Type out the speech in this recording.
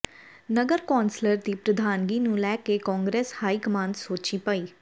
ਨਗਰ ਕੌਂਸਲ ਦੀ ਪ੍ਰਧਾਨਗੀ ਨੂੰ ਲੈ ਕੇ ਕਾਂਗਰਸ ਹਾਈ ਕਮਾਨ ਸੋਚੀਂ ਪਈ